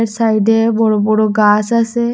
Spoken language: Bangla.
সাইডে বড়ো বড়ো গাস আসে ।